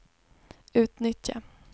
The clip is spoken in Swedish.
utnyttja